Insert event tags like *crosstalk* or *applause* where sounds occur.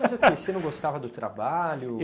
*laughs* Mas por que? Você não gostava do trabalho?